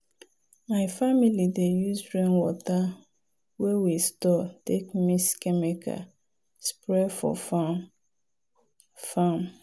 my family dey use rainwater wey we store take mix chemical spray for farm. farm.